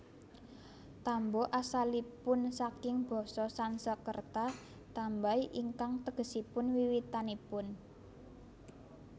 Tambo asalipun saking basa Sansekerta tambay ingkang tegesipun wiwitanipun